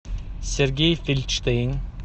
сергей фельдштейн